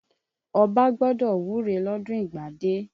Ọbá gbọ́dọ̀ wúre lọ́dún ìgbádé.